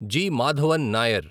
G. Madhavan Nair